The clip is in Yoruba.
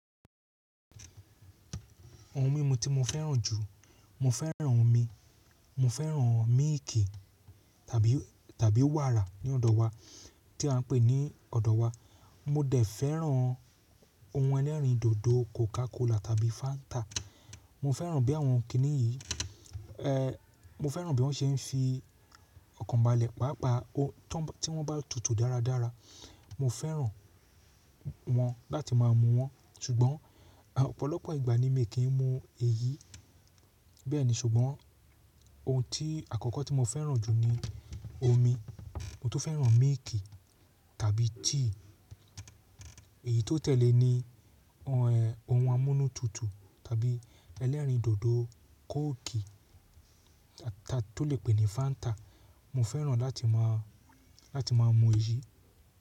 Ohun mímu tí mo fẹ́ràn jù, mo fẹ́ràn omi, mo fẹ́ràn míìkì tàbí, tàbí wàrà ní ọ̀dọ̀ wa tí a ń pè ní ọ̀dọ̀ wa. Mo dẹ̀ fẹ́ràn ohun ẹlẹ́rìndòdò Coca Cola tàbí Fanta. Mo fẹ́ràn bí àwọn kìnnì yìí, ẹ, mo fẹ́ràn bí wọ́n ṣe ń fi ọkàn balẹ̀ pápa tí wọ́n bá tutù dáradára. Mo fẹ́ràn wọ́n láti má a mu wọ́n ṣùgbọ́n ọ̀pọ̀lọpọ̀ ìgbà ni mi kì í mu èyí bẹ́ẹ̀ni ṣùgbọ́n ohun tí àkọ́kọ́ tí mo fẹ́ràn jù ni omi. Mo tún fẹ́ràn míìkì tàbí tíì. Èyí tó tẹ̀lé ni ohun amúnútutù tàbí ẹlẹ́rìndòdò kooki tá tún lè pè ní Fanta. Mo fẹ́ràn láti má a, láti má a mu èyí.